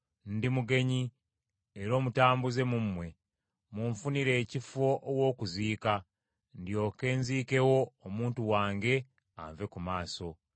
“Ndi mugenyi era omutambuze mu mmwe, munfunire ekifo aw’okuziika, ndyoke nziikewo omuntu wange anve ku maaso.”